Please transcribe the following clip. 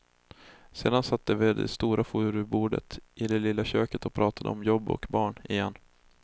Sedan satt de vid det stora furubordet i det lilla köket och pratade om jobb och barn, igen.